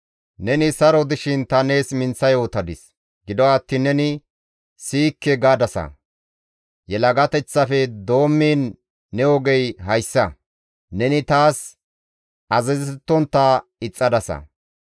Neni saro dishin ta nees minththa yootadis; gido attiin neni, ‹Siyikke› gadasa. Yelagateththafe doommiin ne ogey hayssa; neni taas azazettontta ixxadasa.